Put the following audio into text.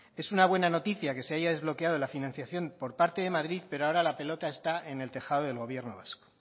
es una buena noticia que se haya desbloqueado la financiación por parte de madrid pero ahora la pelota está en el tejado del gobierno vasco